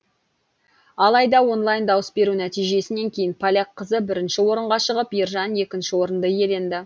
алайда онлайн дауыс беру нәтижесінен кейін поляк қызы бірінші орынға шығып ержан екінші орынды иеленді